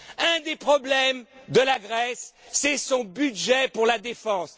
Un des problèmes de la Grèce, c'est son budget pour la défense.